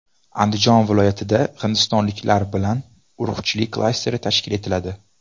Andijon viloyatida hindistonliklar bilan urug‘chilik klasteri tashkil etiladi.